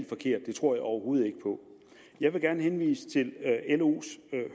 forkert det tror jeg overhovedet ikke på jeg vil gerne henvise til los